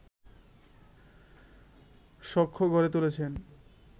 সখ্য গড়ে তুলেছে